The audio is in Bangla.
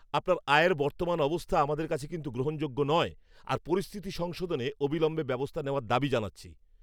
আপনার আয়ের বর্তমান অবস্থা আমাদের কাছে কিন্তু গ্রহণযোগ্য নয় আর পরিস্থিতি সংশোধনে অবিলম্বে ব্যবস্থা নেওয়ার দাবি জানাচ্ছি।